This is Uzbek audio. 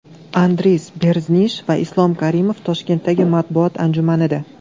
Andris Berzinsh va Islom Karimov Toshkentdagi matbuot anjumanida.